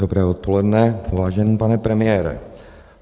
Dobré odpoledne, vážený pane premiére.